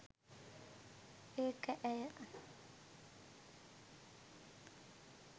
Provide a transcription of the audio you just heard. ඒක ඇය